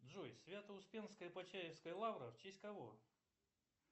джой свято успенская почаевская лавра в честь кого